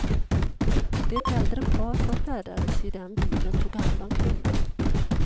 Det äldre par som färdades i den bilen tog hand om kvinnan.